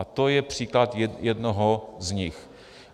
A to je příklad jednoho z nich.